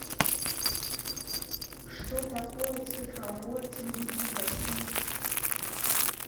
что такое цифровое телевидение в россии